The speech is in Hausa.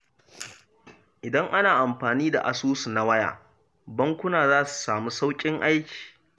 Idan ana amfani da asusu na waya, bankuna za su samu sauƙin aiki.